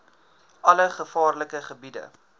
alle gevaarlike gebiede